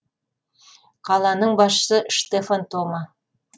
қаланың басшысы штефан тома